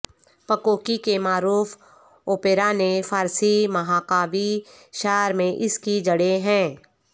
پکوکی کے معروف اوپیرا نے فارسی مہاکاوی شعر میں اس کی جڑیں ہیں